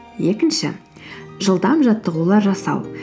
екінші жылдам жаттығулар жасау